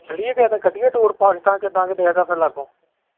ਚੱਲੀਏ ਕਿਸੇ ਦਿਨ ਕੱਢੀਏ tour ਪਾਕਿਸਤਾਨ .